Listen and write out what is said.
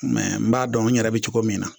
n b'a dɔn n yɛrɛ bɛ cogo min na